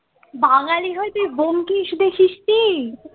বাঙালি হয়ে তুই ব্যোমকেশ দেখিস নি?